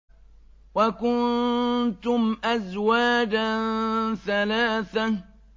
وَكُنتُمْ أَزْوَاجًا ثَلَاثَةً